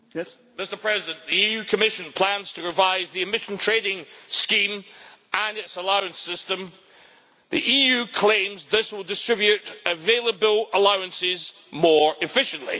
Mr President, the Commission plans to revise the Emissions Trading Scheme and its allowance system. The EU claims this will distribute available allowances more efficiently.